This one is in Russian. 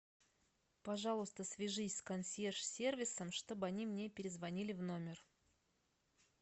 пожалуйста свяжись с консьерж сервисом чтобы они мне перезвонили в номер